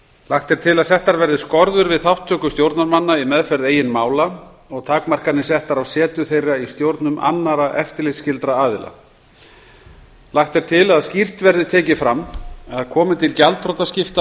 lagt er til að settar verði skorður við þátttöku stjórnarmanna í meðferð eigin mála og takmarkanir settar á setu þeirra í stjórnum annarra eftirlitsskyldra aðila lagt er til að skýrt verði tekið fram að komi til gjaldþrotaskipta